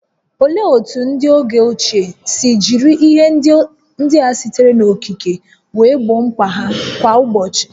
Olee otú ndị oge ochie si jiri ihe ndị a sitere n'okike wee gboo mkpa ha kwa ụbọchị?